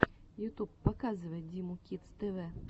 ютуб показывай диму кидс тв